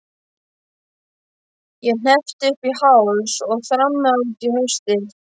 Ég hneppti upp í háls og þrammaði út í haustið.